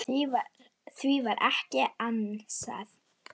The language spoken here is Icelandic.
Því var ekki ansað.